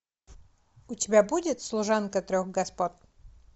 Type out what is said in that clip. у тебя будет служанка трех господ